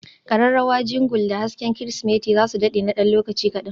kararrawa Jingle da hasken Kirsimeti za su dade na ɗan lokaci kaɗan.